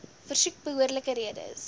versoek behoorlike redes